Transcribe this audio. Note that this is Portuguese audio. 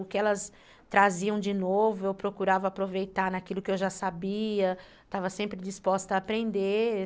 O que elas traziam de novo, eu procurava aproveitar naquilo que eu já sabia, estava sempre disposta a aprender.